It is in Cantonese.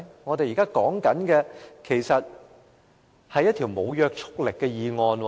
我們將要討論的，其實是一項無約束力的議案。